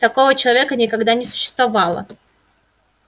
такого человека никогда не существовало